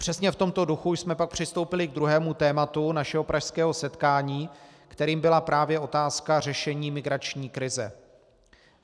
Přesně v tomto duchu jsme pak přistoupili k druhému tématu našeho pražského setkání, kterým byla právě otázka řešení migrační krize.